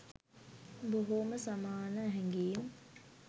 බොහෝම සමාන හැඟීම්